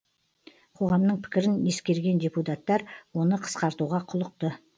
қоғамның пікірін ескерген депутаттар оны қысқартуға құлықты